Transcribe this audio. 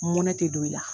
Mɔnɛ te don i la